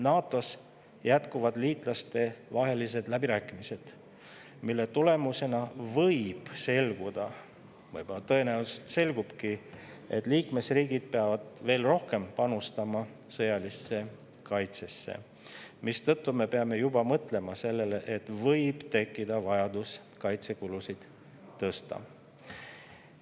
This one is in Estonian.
NATO‑s jätkuvad liitlaste läbirääkimised, mille tulemusena võib selguda ja tõenäoliselt selgubki, et liikmesriigid peavad veel rohkem panustama sõjalisse kaitsesse, mistõttu me peame juba mõtlema sellele, et võib tekkida vajadus kaitsekulusid tõsta.